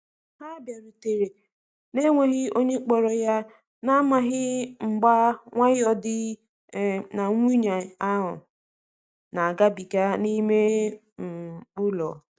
Ha biarutere na-enweghi onye kporo ya, na amaghi mgba nwayo di um na nwunye ahu na agabiga n'ime um ụlọ.